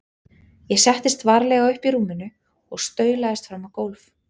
Ég settist varlega upp í rúminu og staulaðist fram á gólf.